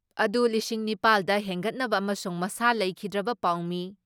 ꯑꯗꯨ ꯂꯤꯁꯤꯡ ꯅꯤꯄꯥꯜ ꯗ ꯍꯦꯟꯒꯠꯅꯕ ꯑꯃꯁꯨꯡ ꯃꯁꯥ ꯂꯩꯈꯤꯗ꯭ꯔꯕ ꯄꯥꯎꯃꯤ